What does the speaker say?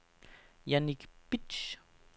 Jannik Bitsch